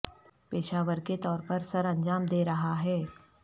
پیشہ ور کے طور پر سرانجام دے رہا ہے